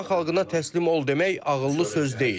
İran xalqına təslim ol demək ağıllı söz deyil.